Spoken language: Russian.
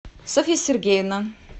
софья сергеевна